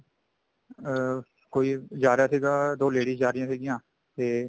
ਅਮ ਕੋਈ ਜਾ ਰਿਹਾ ਸੀਗਾ ਦੋ ladies ਜਾ ਰਹੀਆਂ ਸੀਗੀਆਂ ਤੇ